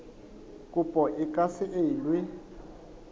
kopo e ka se elwe